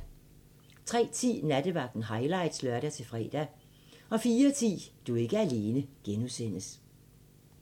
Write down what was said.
03:10: Nattevagten highlights (lør-fre) 04:10: Du er ikke alene (G)